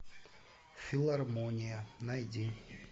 филармония найди